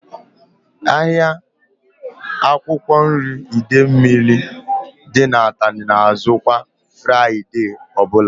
Ahịa akwụkwọ nri Idemili dị n'Atani na azụ kwa Fraịdee ọbụla